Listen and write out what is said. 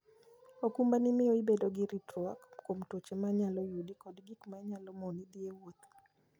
okumbani miyo ibedo gi ritruok kuom tuoche ma nyalo yudi kod gik ma nyalo moni dhi e wuoth.